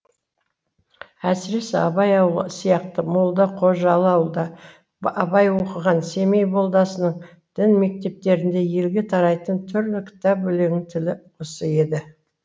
әсіресе абай ауылы сияқты молда қожалы ауылда абай оқыған семей молдасының дін мектептеріндегі елге тарайтын түрлі кітап өлеңінің тілі осы еді